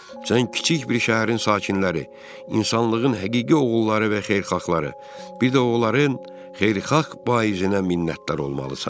Sən kiçik bir şəhərin sakinləri, insanlığın həqiqi oğulları və xeyirxahları, bir də oğulların xeyirxah vaizinə minnətdar olmalısan.